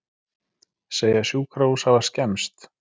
Segja sjúkrahús hafa skemmst